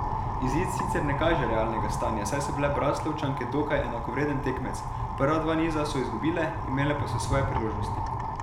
Izid sicer ne kaže realnega stanja, saj so bile Braslovčanke dokaj enakovreden tekmec, prva dva niza so izgubile, imele pa so svoje priložnosti.